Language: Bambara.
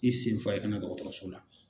I senfa i kana dɔgɔtɔrɔso la!